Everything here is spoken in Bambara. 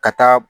Ka taa